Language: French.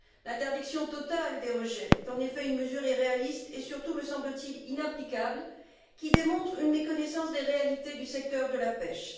L'interdiction totale des rejets est, en effet, une mesure irréaliste et surtout, me semble t il, inapplicable, qui démontre une méconnaissance des réalités du secteur de la pêche.